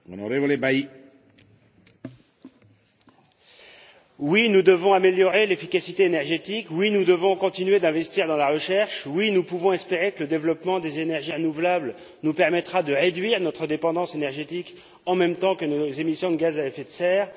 Monsieur le Président, oui, nous devons améliorer l'efficacité énergétique. Oui, nous devons continuer d'investir dans la recherche. Oui, nous pouvons espérer que le développement des énergies renouvelables nous permettra de réduire notre dépendance énergétique en même temps que nos émissions de gaz à effet de serre.